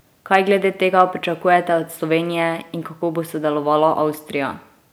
Kaj glede tega pričakujete od Slovenije in kako bo sodelovala Avstrija?